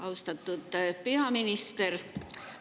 Austatud peaminister!